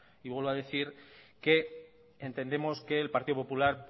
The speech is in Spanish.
y vuelvo a decir que entendemos que el partido popular